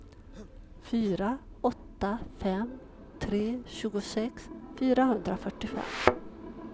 fyra åtta fem tre tjugosex fyrahundrafyrtiofem